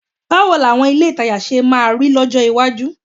Báwo làwọn ilé ìtajà ṣe máa rí lọ́jọ́ iwájú?